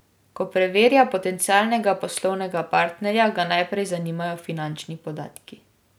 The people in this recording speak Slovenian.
Ko preverja potencialnega poslovnega partnerja, ga najprej zanimajo finančni podatki.